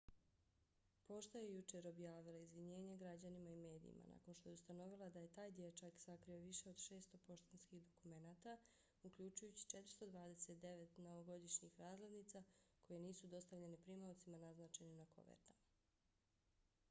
pošta je jučer objavila izvinjenje građanima i medijima nakon što je ustanovila da je taj dječak sakrio više od 600 poštanskih dokumenata uključujući 429 novogodišnjih razglednica koje nisu dostavljene primaocima naznačenim na kovertama